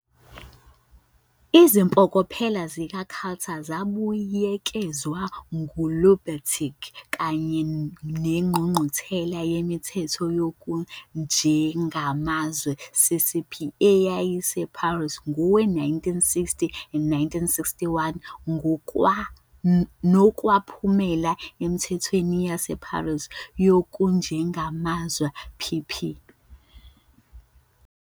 Izimpokophelo zika-Cutter zabuyekezwa nguLubertzky kanye neNgqungquthela yeMithetho yokuJengamazwi, CCP, eyayise Paris ngowe- 1960 and 1961, nokwaphumela eMthethweni yaseParis yokuJengamazwi, PP.